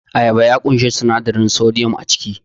Ayaba ya ƙunshi sinadarin sodiyam a ciki